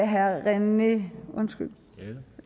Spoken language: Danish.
herre rené